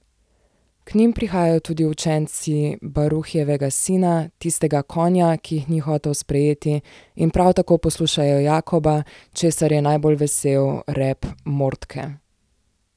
K njim prihajajo tudi učenci Baruhjevega sina, tistega Konja, ki jih ni hotel sprejeti, in prav tako poslušajo Jakoba, česar je najbolj vesel reb Mordke.